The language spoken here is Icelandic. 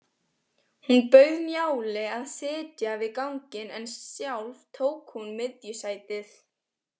Hún bauð Njáli að sitja við ganginn en sjálf tók hún miðjusætið.